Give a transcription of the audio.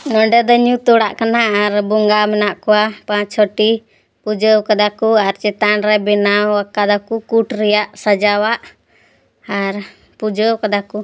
ᱱᱚᱱᱰᱤ ᱫᱚ ᱧᱩᱛ ᱚᱲᱟᱜ ᱠᱟᱱᱟ ᱟᱨ ᱵᱚᱝᱜᱟ ᱢᱮᱱᱟᱜ ᱠᱩᱣᱟ ᱯᱟᱪ ᱪᱷᱚ ᱴᱤ ᱯᱩᱡᱟᱹᱣ ᱟᱠᱟᱫᱟ ᱠᱩ ᱟᱨ ᱪᱮᱛᱟᱱ ᱨᱮ ᱵᱮᱱᱟᱣ ᱟᱠᱟᱫᱟ ᱠᱩ ᱠᱩᱴ ᱨᱮᱭᱟᱜ ᱥᱟᱡᱟᱣᱟᱜ ᱟᱨ ᱯᱩᱡᱟᱹᱣ ᱟᱠᱟᱫᱟ ᱠᱩ ᱾